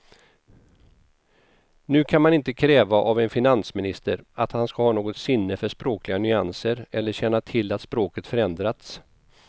Nu kan man inte kräva av en finansminister att han ska ha något sinne för språkliga nyanser eller känna till att språket förändrats.